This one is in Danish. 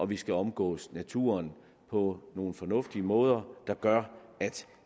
vi skal omgås naturen på nogle fornuftige måder der gør at